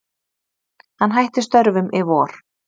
Hann hætti störfum í vor.